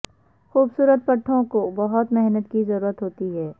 خوبصورت پٹھوں کو بہت محنت کی ضرورت ہوتی ہے